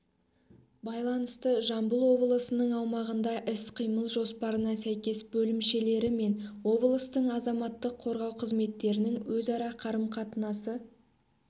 байланысты жамбыл облысының аумағында іс-қимыл жоспарына сәйкес бөлімшелері мен облыстың азаматтық қорғау қызметтерінің өзара қарым-қатынасы